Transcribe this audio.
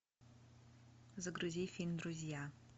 загрузи фильм друзья